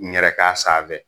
N yɛrɛ k'a san n fɛ